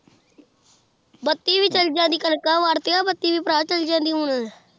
ਬੱਤੀ ਵੀ ਚੱਲ ਜਾਂਦੀ ਕਣਕਾਂ ਵੱਡ ਕੇ ਨਾ, ਬੱਤੀ ਵੀ ਭਰਾ ਚੱਲ ਜਾਂਦੀ ਹੁਣ